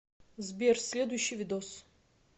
сбер следующий видос